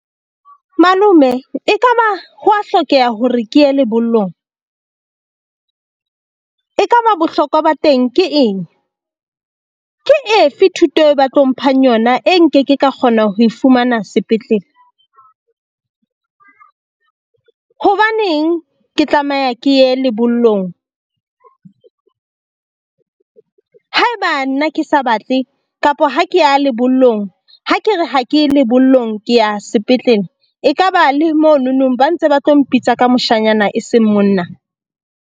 Malome ekaba ho wa hlokeha hore ke ye lebollong e kaba bohlokwa ba teng ke eng? Ke efe thuto e ba tlo mphang yona e nkeke ka kgona ho e fumana sepetlele? Hobaneng ke tlameha ke ye lebollong? Ha eba nna ke sa batle kapa ha ke ya lebollong, ha ke re ha ke ye lebollong ke ya sepetlele e kaba le mononong, ba ntse ba tlo mpitsa ka moshanyana e seng monna?